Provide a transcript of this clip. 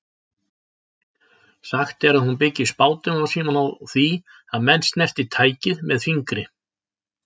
Sagt er að hún byggi spádóma sína á því að menn snerti tækið með fingri.